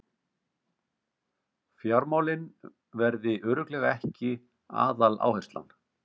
Fjármálin verði örugglega ekki aðaláherslan